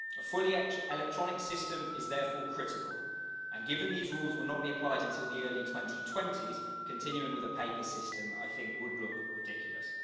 A fully electronic system is therefore critical and, given these rules will not be applied until the early 2020s, continuing with a paper system, I think, would look ridiculous.